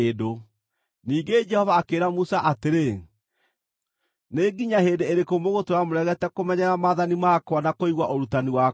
Ningĩ Jehova akĩĩra Musa atĩrĩ, “Nĩ nginya hĩndĩ ĩrĩkũ mũgũtũũra mũregete kũmenyerera maathani makwa na kũigua ũrutani wakwa?